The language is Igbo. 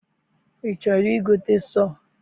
I chọrọ I gote sọọ?